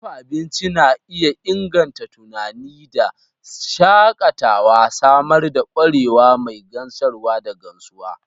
Dafa abinci na iya inganta tunani da shakatawa, samar da kwarewa mai gamsarwa da gamsuwa.